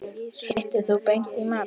Hittir þú Beint í mark?